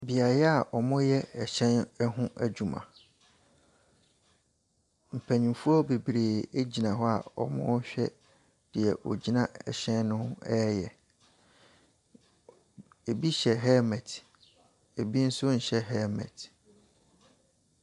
Beaeɛ wɔyɛ ɛhyɛn ho adwuma. Mpanyinfoɔ bebree egyina hɔ a ɔrehwɛ deɛ ɔgyina ɛhyɛn no ho reyɛ. Ebi hyɛ helmet, ebi nso nhyɛ helmet.